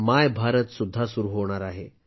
माय भारत सुद्धा सुरू होणार आहे